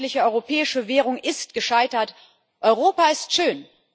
Die einheitliche europäische Währung ist gescheitert. Europa ist schön.